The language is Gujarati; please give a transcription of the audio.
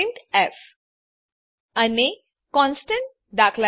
પ્રિન્ટફ અને કોન્સ્ટન્ટ દા